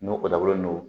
N'o o dabɔlen don